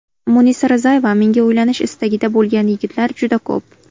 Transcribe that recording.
Munisa Rizayeva: Menga uylanish istagida bo‘lgan yigitlar juda ko‘p.